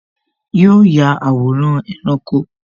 Yo ya àwòrán ẹranko